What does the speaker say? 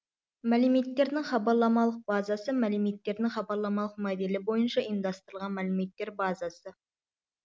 мәліметтердің хабарламалық базасы мәліметтердің хабарламалық моделі бойынша ұйымдастырылған мәліметтер базасы